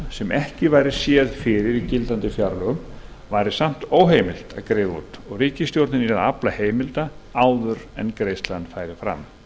sem ekki væri séð fyrir í gildandi fjárlögum væri samt óheimilt að greiða út og ríkisstjórnin yrði að afla heimilda áður en greiðslan færi fram